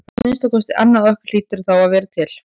Að minnsta kosti annað okkar hlýtur því að vera til.